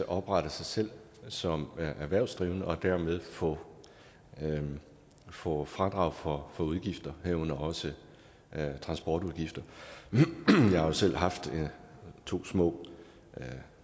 oprette sig selv som erhvervsdrivende og dermed få få fradrag for udgifter herunder også transportudgifter jeg har jo selv haft to små